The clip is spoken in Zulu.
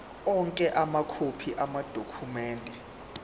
onke amakhophi amadokhumende